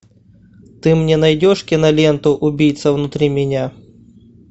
ты мне найдешь киноленту убийца внутри меня